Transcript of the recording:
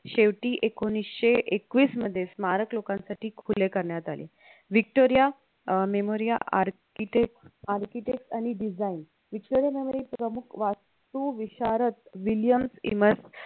शेवटी एकोणीशे एकवीस मध्ये स्मारक लोकांसाठी खुले करण्यात आले. Victoria uh memoria architect architect आणि design व्हीकटोरीय मेमोरिया प्रमुख वास्तुविशारद विलियम्स ईमेन्स